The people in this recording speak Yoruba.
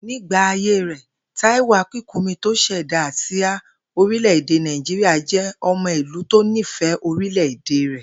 Nígbà ayé rè̩, Táíwò Akínkúnmi tó s̩è̩dá àsíá orílè̩-èdè Nàìjíríà jé̩ o̩mo̩ ìlú tó nífè̩é orílè̩-èdè rè̩